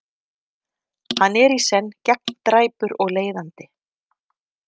Hann er í senn gegndræpur og leiðandi.